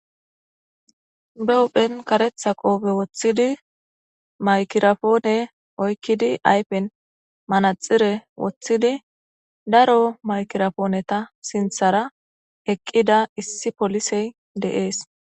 Be huphe kareta qofe wothidi maygirapone oykidi ayfen manaxire wothidi daro maygira poneta sinthara eqida issi poliesy de'ese